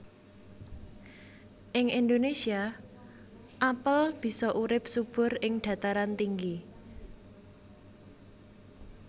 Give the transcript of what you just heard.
Ing Indonésia apel bisa urip subur ing dhataran tinggi